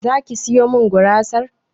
Zaki sayo min gurasa?